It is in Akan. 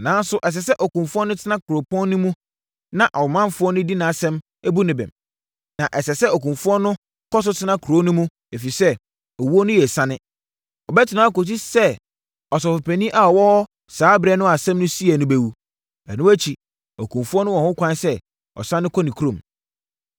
Nanso, ɛsɛ sɛ okumfoɔ no tena kuropɔn no mu na ɔmanfoɔ di nʼasɛm bu no bem. Na ɛsɛ sɛ okumfoɔ no kɔ so tena kuro no mu, ɛfiri sɛ, owuo no yɛ asiane. Ɔbɛtena hɔ akɔsi sɛ ɔsɔfopanin a ɔwɔ hɔ saa ɛberɛ no a asɛm no siiɛ no bɛwu. Ɛno akyi, okumfoɔ no wɔ ho kwan sɛ ɔsane kɔ ne kurom.”